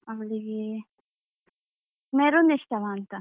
ಅವಳಿಗೇ maroon ಇಷ್ಟವಂತಾ.